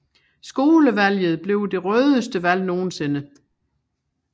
Skolevalget blev det rødeste valg nogensinde